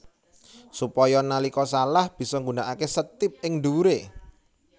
Supaya nalika salah bisa nggunakaké setip ing dhuwuré